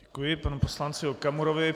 Děkuji panu poslanci Okamurovi.